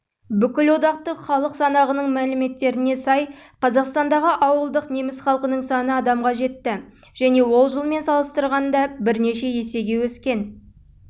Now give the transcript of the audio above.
бүкілодақтық халық санағының мәліметтеріне сай қазақстандағы ауылдық неміс халқының саны адамға жетті және ол жылмен салыстырғанда есеге өскен